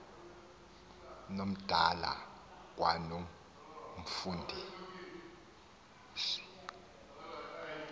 nomdala kwano mfundisi